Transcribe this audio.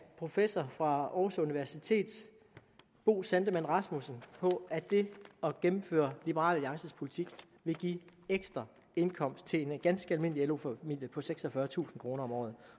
professor fra aarhus universitet bo sandemann rasmussen at det at gennemføre liberal alliances politik vil give en ekstra indkomst til en ganske almindelig lo familie på seksogfyrretusind kroner om året